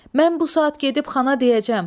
Mən bu saat gedib xana deyəcəm.